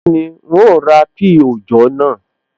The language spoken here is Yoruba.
Bẹ́ẹ̀ni, n ó ra píì òòjọ́ naa